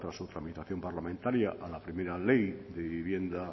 tras su tramitación parlamentaria a la primera ley de vivienda